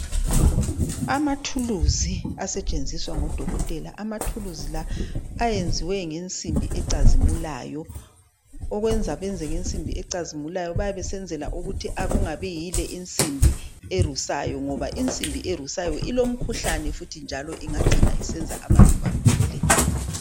Amathuluzi asetshenziswa ngodokotela amathuluzi la ayenziwe ngensimbi ecazimulayo okwenza benze ngensimbi ecazimulayo bayabe besenzela ukuthi akungabi yile insimbi erusayo ngoba insimbi erusayo ilomkhuhlane futhi njalo ingacina isenza abantu bagule.